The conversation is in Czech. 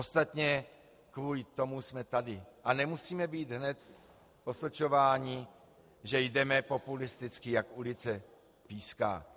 Ostatně kvůli tomu jsme tady a nemusíme být hned osočováni, že jdeme populisticky, jak ulice píská.